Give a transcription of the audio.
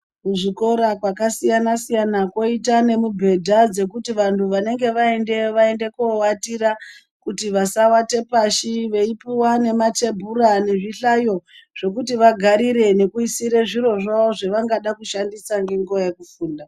Kuzvikora kwakasiyana siyana kwoita nemubhedha dzekuti vantu vanenge vaendayo vaende koowatira kuti vasawate pashi veipuwa nematebhura nezvihlayo zvekuti vagarire nekuisira zviro zvavo zvavangada kushandisa ngenguva yekufunda.